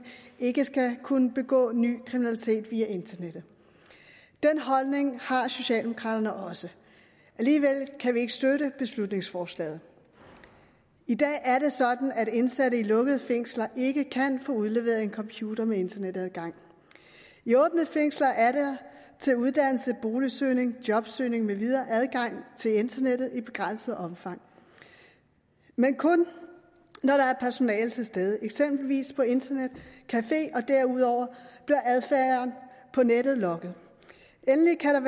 ikke skal kunne begå ny kriminalitet via internettet den holdning har socialdemokraterne også alligevel kan vi ikke støtte beslutningsforslaget i dag er det sådan at indsatte i lukkede fængsler ikke kan få udleveret en computer med internetadgang i åbne fængsler er der til uddannelse boligsøgning jobsøgning med videre adgang til internettet i begrænset omfang men kun når der er personale til stede eksempelvis på internetcafé derudover bliver adfærden på nettet logget endelig kan